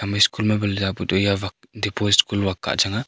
ye school ma bale za pu ley yeh dipaul school .